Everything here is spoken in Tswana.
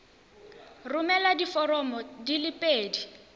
romela diforomo di le pedi